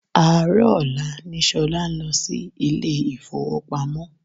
Àárọ̀ ọ̀la ni Ṣolá ń lọ sí ilé ifowopamo.